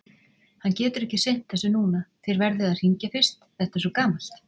Hann getur ekki sinnt þessu núna, þér verðið að hringja fyrst, þetta er svo gamalt.